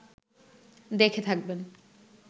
দেখে থাকবেন